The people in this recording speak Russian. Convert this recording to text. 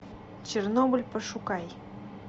чернобыль пошукай